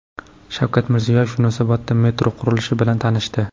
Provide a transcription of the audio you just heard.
Shavkat Mirziyoyev Yunusobodda metro qurilishi bilan tanishdi.